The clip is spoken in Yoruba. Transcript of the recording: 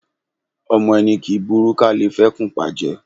Ọmọ ẹni kì í burú ká le fẹ́kùn pa jẹ.